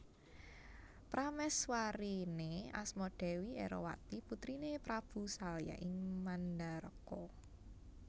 Pramèswariné asma Dèwi Erowati putriné Prabu Salya ing Mandharaka